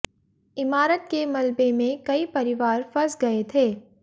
इमारत के मलबे में कई परिवार फंस गए थे